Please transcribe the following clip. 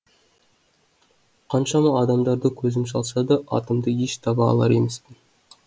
қаншама адамдарды көзім шалса да атымды еш таба алар емеспін